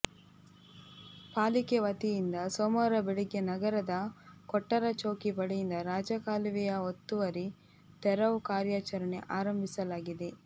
ಪಾಲಿಕೆ ವತಿಯಿಂದ ಸೋಮವಾರ ಬೆಳಗ್ಗೆ ನಗರದ ಕೊಟ್ಟಾರ ಚೌಕಿ ಬಳಿಯಿಂದ ರಾಜಕಾಲುವೆಯ ಒತ್ತುವರಿ ತೆರವು ಕಾರ್ಯಾಚರಣೆ ಆರಂಭಿಸಲಾಗಿದೆ